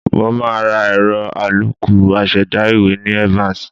Mo máa ra ẹ̀rọ àlòkù aṣẹ̀dá ìwé ní Evans